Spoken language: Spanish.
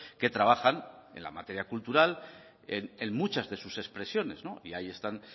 que trabajan en la materia cultural en muchas de sus expresiones no y ahí están